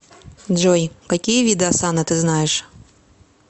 джой какие виды осанна ты знаешь